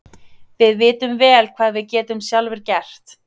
Við vitum vel hvað við getum sjálfir gert.